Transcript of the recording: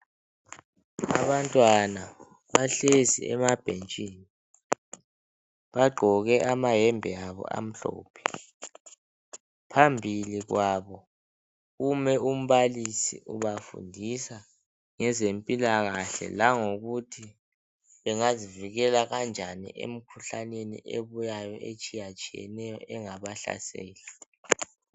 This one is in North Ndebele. Abantwana bahlezi emabhentshini. Bagqoke amayembe amhlophe. Phambi kwabo kume umbalisi ubafundisa ngezempilakahle, langokuthi bengazivikela kanjani emkhuhlaneni ebuyayo etshiyetshiyeneyo engabahlasela.